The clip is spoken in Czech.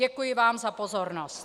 Děkuji vám za pozornost.